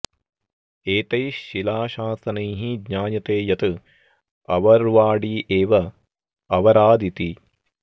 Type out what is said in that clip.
एतैः शिलाशासनैः ज्ञायते यत् अवर्वाडी एव अवराद् इति